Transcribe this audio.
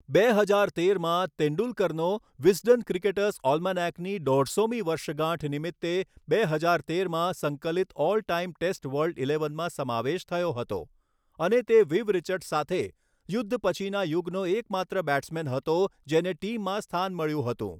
બે હજાર તેરમાં, તેંડુલકરનો વિઝડન ક્રિકેટર્સ ઑલ્માનૅકની દોઢસોમી વર્ષગાંઠ નિમિત્તે બે હજાર તેરમાં સંકલિત ઑલ ટાઇમ ટેસ્ટ વર્લ્ડ ઇલેવનમાં સમાવેશ થયો હતો અને તે વિવ રિચર્ડ્ સાથે યુદ્ધ પછીના યુગનો એકમાત્ર બૅટ્સમૅન હતો જેને ટીમમાં સ્થાન મળ્યું હતું.